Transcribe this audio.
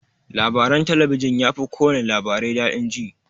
Labaran talabijin yafi kowana labarai daɗi jin.